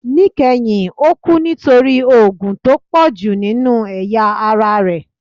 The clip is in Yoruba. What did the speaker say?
Nikẹhin o kú nítorí òógun tó pọju ninú eyá ará rẹ